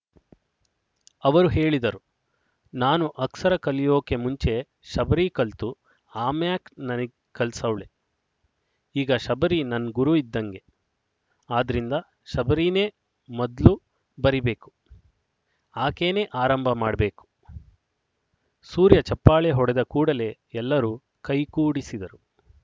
ಅವರು ಹೇಳಿದರು ನಾನು ಅಕ್ಸರ ಕಲಿಯೋಕೆ ಮುಂಚೆ ಶಬರಿ ಕಲ್ತು ಆಮ್ಯಾಕ್ ನನಿಗ್ ಕಲ್ಸವ್ಳೆ ಈಗ ಶಬರಿ ನನ್ ಗುರು ಇದ್ದಂಗೆ ಆದ್ರಿಂದ ಶಬರೀನೆ ಮದ್ಲು ಬರೀಬೇಕು ಆಕೇನೇ ಆರಂಭ ಮಾಡ್‍ಬೇಕು ಸೂರ್ಯ ಚಪ್ಪಾಳೆ ಹೊಡೆದ ಕೂಡಲೇ ಎಲ್ಲರೂ ಕೈಕೂಡಿಸಿದರು